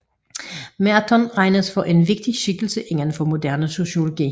Merton regnes for en vigtig skikkelse indenfor moderne sociologi